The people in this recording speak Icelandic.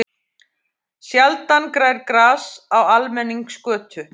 Sjaldan grær gras á almenningsgötu.